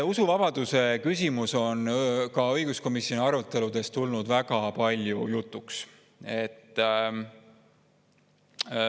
Usuvabaduse küsimus on ka õiguskomisjoni aruteludes tulnud väga palju jutuks.